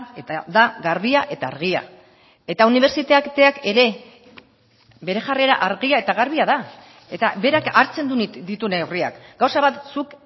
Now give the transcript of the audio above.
eta da garbia eta argia eta unibertsitateak ere bere jarrera argia eta garbia da eta berak hartzen ditu neurriak gauza bat zuk